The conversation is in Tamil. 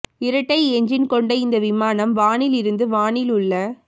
இரட்டை என்ஜின் கொண்ட இந்த விமானம் வானில் இருந்து வானில் உள்ள